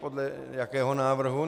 Podle jakého návrhu?